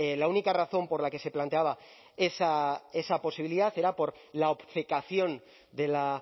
la única razón por la que se planteaba esa posibilidad era por la obcecación de la